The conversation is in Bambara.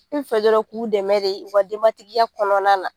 N fɛ dɔrɔn k'u dɛmɛ de u ka denbatigiya kɔnɔna na.